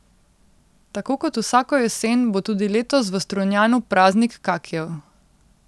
Tako kot vsako jesen bo tudi letos v Strunjanu praznik kakijev.